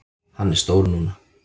Hann er stór núna.